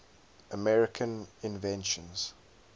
american inventions